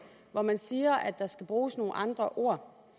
hvor man siger at der skal bruges nogle andre ord